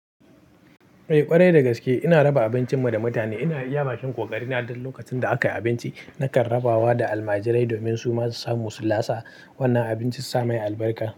Eh ƙwarai dagaske ina raba abincin mu da mutane, ina iya ma shi kokari na duk lokacin da aka yi abinci nakan rabawa da almajirai domin su masu samu su lasa wannan abincin su samai albarka.